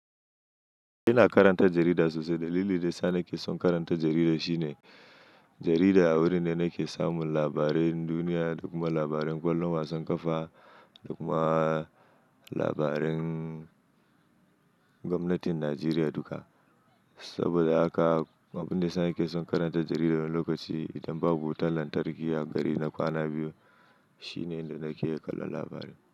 Ina karanta jarida sosai. Dalilin da yasa na ke son karanta jarida shine, jarida wuri ne nake samun labaran duniya da kuma labaran ƙwallon wasan ƙafa da kuma labarin gwamnatin Najeriya duka. Saboda haka abin da yana ke son karanta jarida wani lokaci idan babu wutar lantarki a gari na kwana biyu shine inda nake kallon labarai.